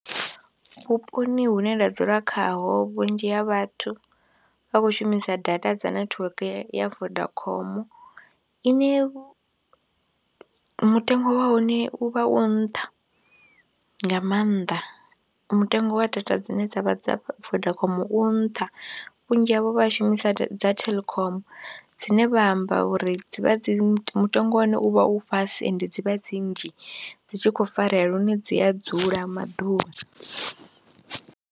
Vhuponi hune nda dzula khaho vhunzhi ha vhathu vha khou shumisa data dza netiweke ya Vodacom ine mutengo wa hone u vha u nṱha nga maanḓa, mutengo wa data dzine dza vha dza Vodacom u nṱha vhunzhi havho vha shumisa dza Telkom dzine vha amba uri dzi vha dzi mutengo wa hone u vha u fhasi ende dzi vha dzi nnzhi dzi tshi khou farea lune dzi a dzula maḓuvha.